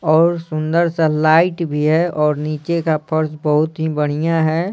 और सुंदर सा लाइट भी है और नीचे का फर्श बहुत ही बढ़िया है।